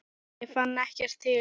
Ég fann ekkert til.